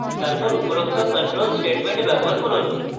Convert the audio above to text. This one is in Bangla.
তারপর উপযুক্ত control statement ব্যবহার করুন